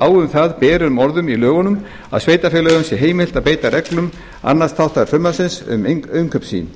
á um það berum orðum í lögunum að sveitarfélögum sé heimilt að beita reglum annars þáttar frumvarpsins um innkaup sín